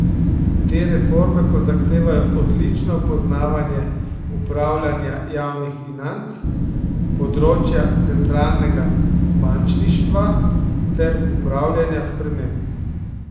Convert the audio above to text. Te reforme pa zahtevajo odlično poznavanje upravljanja javnih financ, področja centralnega bančništva ter upravljanja sprememb.